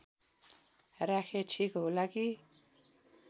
राखे ठिक होला कि